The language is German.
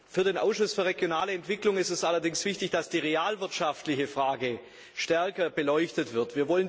Für den Ausschuss für regionale Entwicklung ist es allerdings wichtig, dass die realwirtschaftliche Frage stärker beleuchtet wird.